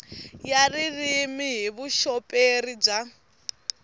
ya ririmi hi vuxoperi bya